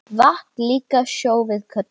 Vatn líka sjó við köllum.